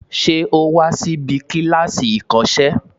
Ṣé o wa síbi kíláàsì ìkọ́sẹ́